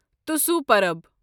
توسُو پرب